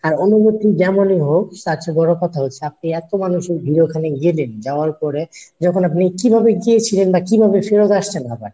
আর অনুভূতি যেমনি হোক তার চেয়ে বড়ো কথা হচ্ছে আপনি এতো মানুষের ভিড়ে ওখানে গেলেন যাওয়ার পরে যখন আপনি কিভাবে গিয়েছিলেন বা কিভাবে ফেরত আসছেন ঢাকায় ?